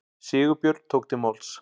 Sigurbjörn tók til máls.